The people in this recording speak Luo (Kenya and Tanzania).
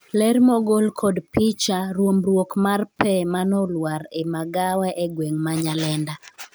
ler mogol kod picha, ruombruok mar pee mane olwar e magawa e gweng' ma Nyalenda